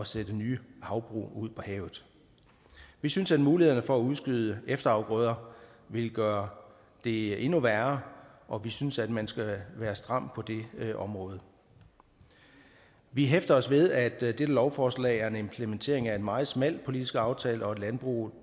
sætte nye havbrug ud på havet vi synes at mulighederne for at udskyde efterafgrøder vil gøre det endnu værre og vi synes at man skal være stram på det område vi hæfter os ved at dette lovforslag er en implementering af en meget smal politisk aftale og at landbruget